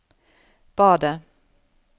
badet